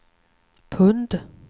pund